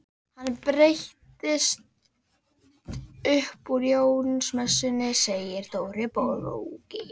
Hann breytist upp úr Jónsmessunni segir Dóri bóki.